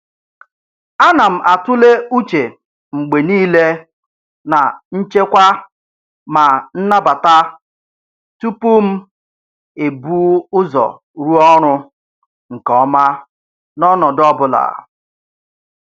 A na m atụle uche mgbe niile na nchekwa ma nnabata tupu m ebu ụzọ rụọ ọrụ nke ọma n'ọnọdụ ọ bụla.